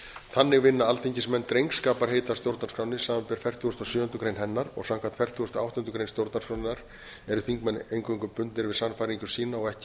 þannig vinna alþingismenn drengskaparheit að stjórnarskránni samanber fertugustu og sjöundu grein hennar og samkvæmt fertugustu og áttundu grein stjórnarskrárinnar eru þingmenn eingöngu bundnir við sannfæringu sína og ekki að